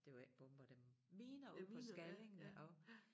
Det var ikke bomber dem miner ude på Skallingen og